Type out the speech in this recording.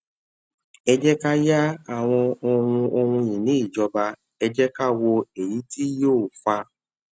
ẹ jẹ́ ká yá àwọn ohun ohun ìní ìjọba ẹ jẹ́ ká wo èyí tí yóò fa